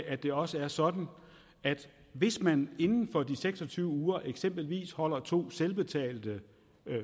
at det også er sådan at hvis man inden for de seks og tyve uger eksempelvis holder to selvbetalte